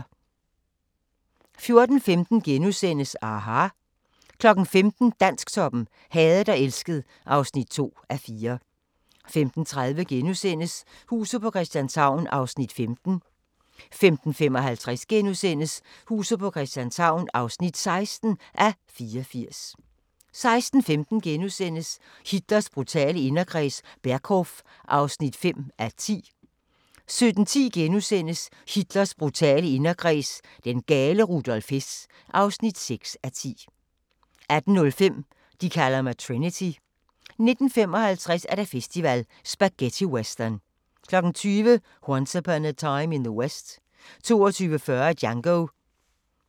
14:15: aHA! * 15:00: Dansktoppen: Hadet og elsket (2:4) 15:30: Huset på Christianshavn (15:84)* 15:55: Huset på Christianshavn (16:84)* 16:15: Hitlers brutale inderkreds – Berghof (5:10)* 17:10: Hitlers brutale inderkreds – den gale Rudolf Hess (6:10)* 18:05: De kalder mig Trinity 19:55: Filmfestival: Spaghettiwestern 20:00: Once Upon a Time in the West 22:40: Django